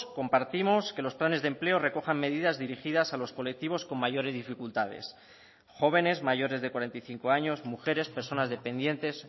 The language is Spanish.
compartimos que los planes de empleo recojan medidas dirigidas a los colectivos con mayores dificultades jóvenes mayores de cuarenta y cinco años mujeres personas dependientes